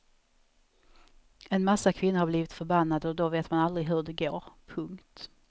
En massa kvinnor har blivit förbannade och då vet man aldrig hur det går. punkt